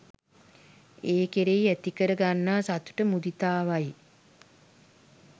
ඒ කෙරෙහි ඇති කර ගන්නා සතුට මුදිතාවයි